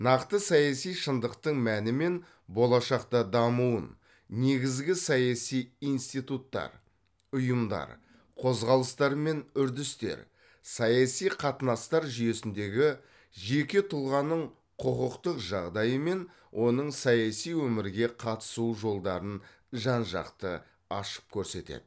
нақты саяси шындықтың мәні мен болашақта дамуын негізгі саяси институттар ұйымдар қозғалыстар мен үрдістер саяси қатынастар жүйесіндегі жеке тұлғаның құқықтық жағдайы мен оның саяси өмірге қатысу жолдарын жан жақты ашып көрсетеді